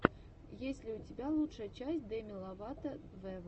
есть ли у тебя лучшая часть деми ловато вево